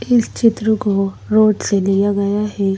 इस चित्र को रोड से लिया गया है।